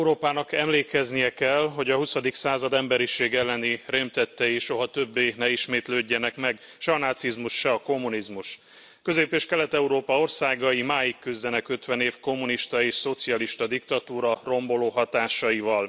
Európának emlékeznie kell, hogy a huszadik század emberiség elleni rémtettei soha többé ne ismétlődjenek meg, se a nácizmus, se a kommunizmus. Közép és Kelet Európa országai máig küzdenek ötven év kommunista és szocialista diktatúra romboló hatásaival.